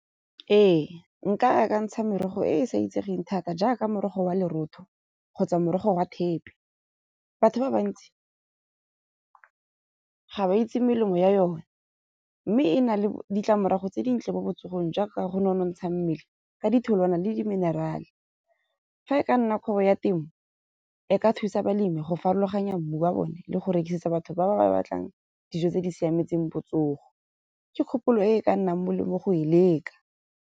Ee, nka akantsha merogo e sa itsegeng thata jaaka morogo wa lorotho kgotsa morogo wa thepe. Batho ba bantsi ga ba itse melemo ya yone. Mme e na le ditlamorago tse dintle mo botsogong jaaka go ne go nonotsha mmele ka ditholwana le di-mineral-e. Fa e ka nna kgwebo ya temo e ka thusa balemi go farologanya mmu wa bone le go rekisetsa batho ba ba batlang dijo tse di siametseng botsogo. Ke kgopolo e ka nnang molemo go e leka.